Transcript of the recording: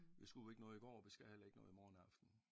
Vi skulle ikke noget i går og vi skal heller ikke noget i morgen aften